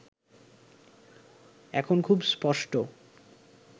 এখন খুব স্পষ্ট